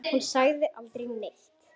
Þú sagðir aldrei neitt.